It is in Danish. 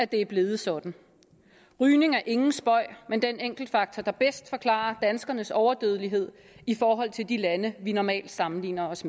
det er blevet sådan rygning er ingen spøg men den enkeltfaktor der bedst forklarer danskernes overdødelighed i forhold til de lande vi normalt sammenligner os